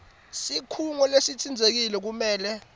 sikhungo lesitsintsekile kumele